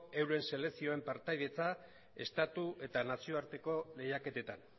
euren selekzioen partaidetza estatu eta nazioarteko lehiaketetan